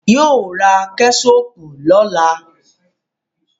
Yóò ra Kẹ́ṣọpù lọ́la